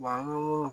an ko